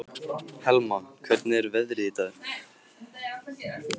Helma, hvernig er veðrið í dag?